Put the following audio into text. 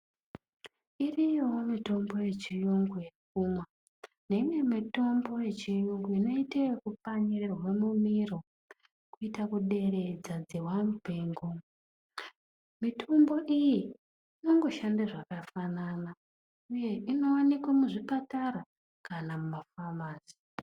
Iriyowo mitombo yechiyungu yekumwa neimwe mitombo yechiyungu inoite ekukanyirwe mumiro kuita kuderedza dzihwa mupengo mitombo iyi inongoshande zvakafanana uye inowanikwe muzvipatara kana mumafamasi.